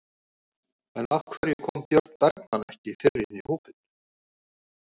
En af hverju kom Björn Bergmann ekki fyrr inn í hópinn?